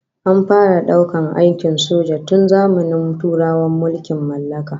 An fara daukar aikin soja tun zamanin turawan mulkin mallaka